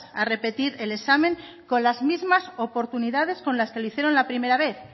a repetir el examen con las mismas oportunidades con las que lo hicieron la primera vez